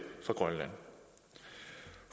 fra grønland